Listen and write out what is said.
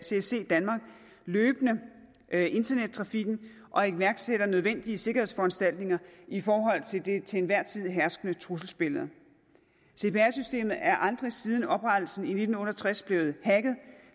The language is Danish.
csc danmark løbende internettrafikken og iværksætter nødvendige sikkerhedsforanstaltninger i forhold til det til enhver tid herskende trusselsbillede cpr systemet er aldrig siden oprettelsen i nitten otte og tres blevet hacket